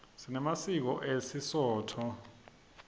sinemasiko esisotho